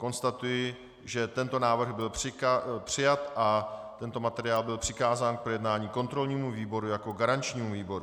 Konstatuji, že tento návrh byl přijat a tento materiál byl přikázán k projednání kontrolnímu výboru jako garančnímu výboru.